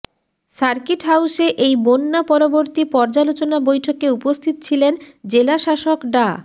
circuit হাউসে এই বন্যা পরবর্তী পর্যালোচনা বৈঠকে উপস্থিত ছিলেন জেলাশাসক ডা